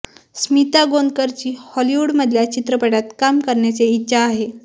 स्मिता गोंदकरची हॉलिवूड मधल्या चित्रपटात काम करण्याची इच्छा आहे